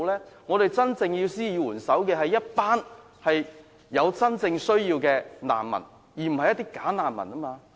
需要我們施以援手的是一群有真正需要的難民，不是"假難民"。